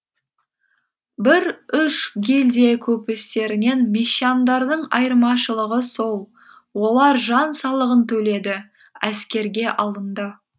бір үш гильдия көпестерінен мещандардың айырмашылығы сол олар жан салығын төледі әскерге алынды